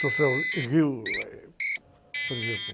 Troféu Rio, eh, por exemplo.